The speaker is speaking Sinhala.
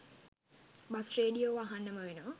බස් රේඩියෝව අහන්නම වෙනවා